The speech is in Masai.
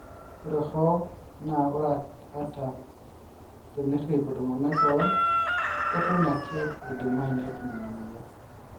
ore hoo naa ore ata, ata tenerip oltungani kewon keton ake eidmayu netum ina moyian.